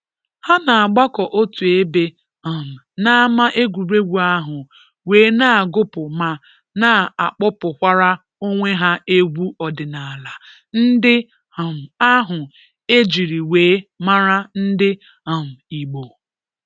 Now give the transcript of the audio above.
Ha na-agbakọ otu ebe um n’ama egwuregwu ahụ wee na agụpụ ma na-agbapụkwara onwe ha egwu ọdinala ndị um ahụ ejiri wee mara ndị um Igbo.